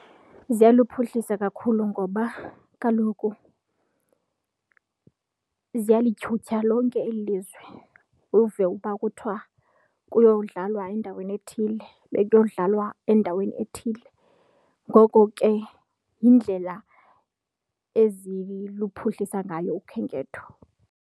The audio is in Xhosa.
Ziyaluphuhlisa kakhulu ngoba kaloku ziyalityhutyha lonke eli lizwe uve uba kuthiwa kuyodlalwa endaweni ethile bekuyodlalwa endaweni ethile. Ngoko ke yindlela eziluphuhlisa ngayo ukhenketho.